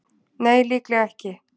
Nei, líklega ekki.